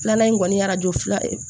Filanan in kɔni ye arajo fila ye